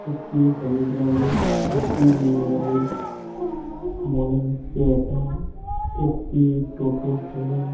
একটি হলুদ রঙের একটি নীল রঙের। মনে হচ্ছে এইটা একটি টোটো --